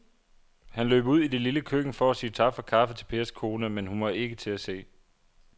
Han løb ud i det lille køkken for at sige tak for kaffe til Pers kone, men hun var ikke til at se.